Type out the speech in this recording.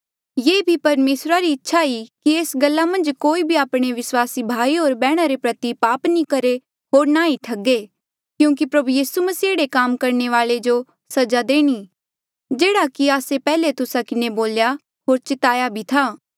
ये भी परमेसरा री इच्छा ई कि एस गल्ला मन्झ कोई भी आपणे विस्वासी भाई होर बैहणा रे प्रति पाप नी करहे होर ना ई ठगे क्यूंकि प्रभु यीसू मसीह एह्ड़े काम करणे वाले जो सजा देणी जेह्ड़ा कि आस्से पैहले तुस्सा किन्हें बोल्या होर चिताया भी था